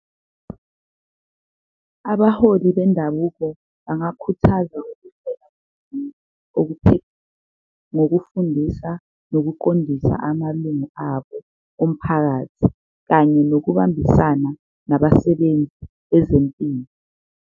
Abaholi bendabuko bangakhuthaza nokufundisa, nokuqondisa amalungu abo omphakathi kanye nokubambisana nabasebenzi bezempilo.